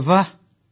ଆରେ ବାଃ